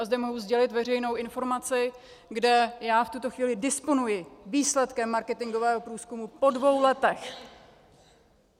A zde mohu sdělit veřejnou informaci, kde já v tuto chvíli disponuji výsledkem marketingového průzkumu po dvou letech.